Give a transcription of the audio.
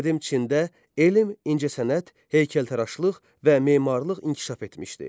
Qədim Çində elm, incəsənət, heykəltaraşlıq və memarlıq inkişaf etmişdi.